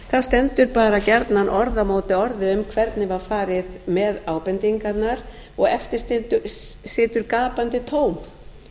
þá stendur bara gjarnan orð á móti orði um hvernig var farið með ábendingarnar og eftir situr gapandi tóm